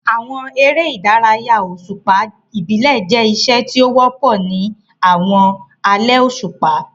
Àwọn eré ìdárayá òṣùpá ìbílẹ̀ jẹ́ iṣẹ́ tí ó wọ́pọ̀ ní àwọn alẹ́ òṣùpá.